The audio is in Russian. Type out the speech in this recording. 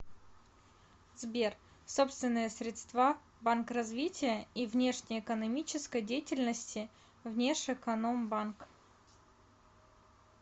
сбер собственные средства банк развития и внешнеэкономической деятельности внешэкономбанк